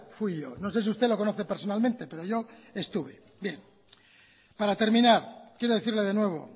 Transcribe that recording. fui yo no sé si usted lo conoce personalmente pero yo estuve para terminar quiero decirle de nuevo